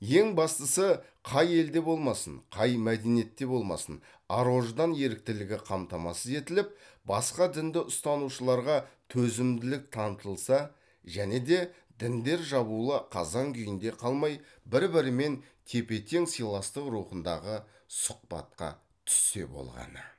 ең бастысы қай елде болмасын қай мәдениетте болмасын ар ождан еріктілігі қамтамасыз етіліп басқа дінді ұстанушыларға төзімділік танытылса және де діндер жабулы қазан күйінде қалмай бір бірімен тепе тең сыйластық рухындағы сұхбатқа түссе болғаны